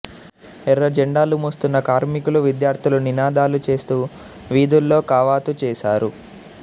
ఎర్ర జెండాలు మోస్తున్న కార్మికులు విద్యార్థులు నినాదాలు చేస్తూ వీధుల్లో కవాతు చేశారు